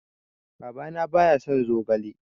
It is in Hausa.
Baba na ba ya son zogale